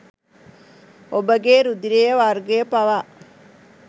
ඔබගේ රුධිර වර්ගය පවා